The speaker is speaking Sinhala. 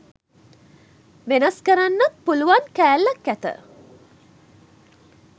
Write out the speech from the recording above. වෙනස් කරන්නත් පුළුවන් කැල්ලක් ඇත.